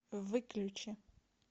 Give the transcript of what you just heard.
выключи